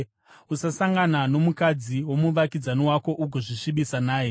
“ ‘Usasangana nomukadzi womuvakidzani wako ugozvisvibisa naye.